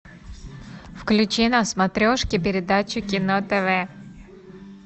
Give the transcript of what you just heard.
включи на смотрешке передачу кино тв